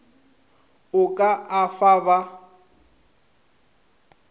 o ka a fa ba